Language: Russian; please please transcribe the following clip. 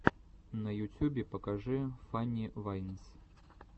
на ютюбе покажи фанни вайнс